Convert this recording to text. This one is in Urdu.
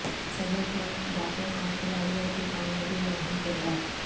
صحت مند دانتوں کا کھلاڑیوں کی کامیابی میں اہم کردار